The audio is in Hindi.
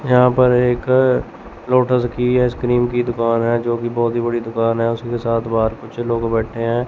यहां पर एक लोटस की आइस क्रीम की दुकान है जो की बहोत ही बड़ी दुकान है उसके साथ बाहर कुछ लोग बैठे हैं।